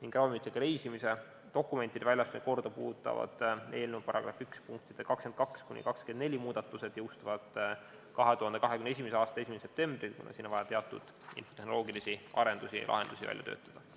ning ravimitega reisimise dokumentide väljastamise korda puudutavad eelnõu § 1 punktide 22–24 muudatused jõustuvad 2021. aasta 1. septembril, kuna siin on vaja teatud tehnoloogilisi arendusi ja lahendusi välja töötada.